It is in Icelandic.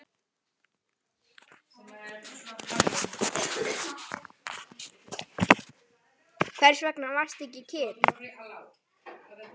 Hvers vegna varstu ekki kyrr?